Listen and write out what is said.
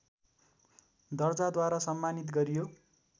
दर्जाद्वारा सम्मानित गरियो